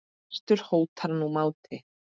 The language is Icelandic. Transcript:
svartur hótar nú máti.